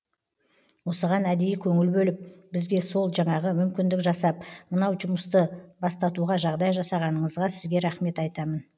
осыған әдейі көңіл бөліп бізге сол жаңағы мүмкіндік жасап мынау жұмысты бастатуға жағдай жасағаныңызға сізге рахмет айтамын